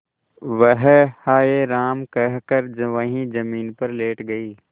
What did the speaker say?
वह हाय राम कहकर वहीं जमीन पर लेट गई